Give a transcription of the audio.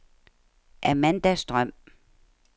Amanda Strøm